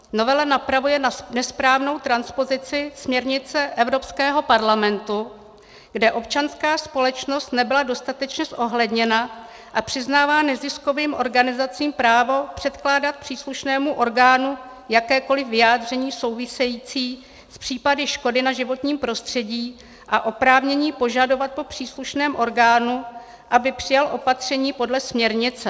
Novela napravuje nesprávnou transpozici směrnice Evropského parlamentu, kde občanská společnost nebyla dostatečně zohledněna, a přiznává neziskovým organizacím právo předkládat příslušnému orgánu jakékoliv vyjádření související s případy škody na životním prostředí a oprávnění požadovat po příslušném orgánu, aby přijal opatření podle směrnice.